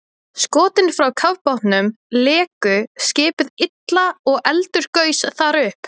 Skotin frá kafbátnum léku skipið illa og eldur gaus þar upp.